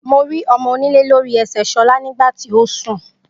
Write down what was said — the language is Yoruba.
Mo rí ọmọ onílé lori ẹsẹ sola nígbàtí ósùn.